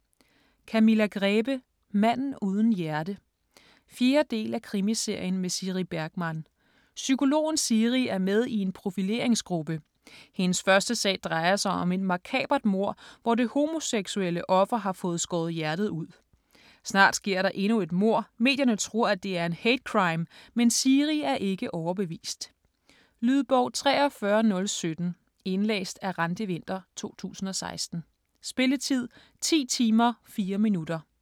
Grebe, Camilla: Manden uden hjerte 4. del af Krimiserien med Siri Bergman. Psykologen Siri er med i en profileringsgruppe. Hendes første sag drejer sig om et makabert mord, hvor det homoseksuelle offer har fået skåret hjertet ud. Snart sker der endnu et mord, medierne tror at det er en hate crime, men Siri er ikke overbevist. Lydbog 43017 Indlæst af Randi Winther, 2016. Spilletid: 10 timer, 4 minutter.